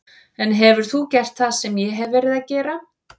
En hefur þú gert það sem ég hef verið að gera?